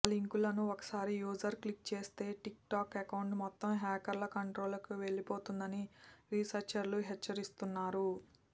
ఆ లింకులను ఒకసారి యూజర్ క్లిక్ చేస్తే టిక్ టాక్ అకౌంట్ మొత్తం హ్యాకర్ల కంట్రోల్లోకి వెళ్లిపోతుందని రీసెర్చర్లు హెచ్చరిస్తున్నారు